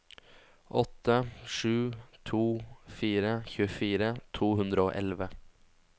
åtte sju to fire tjuefire to hundre og elleve